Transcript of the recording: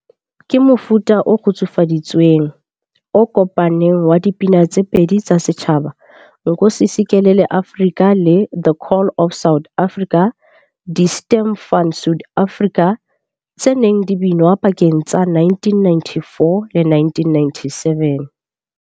Ke mofuta o kgutsufaditsweng, o kopaneng wa dipina tse pedi tsa setjhaba, Nkosi Sikelel iAfrika le The Call of South Africa, Die Stem van Suid-Afrika, tse neng di binwa pakeng tsa 1994 le 1997.